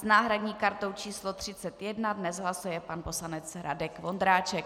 S náhradní kartou číslo 31 dnes hlasuje pan poslanec Radek Vondráček.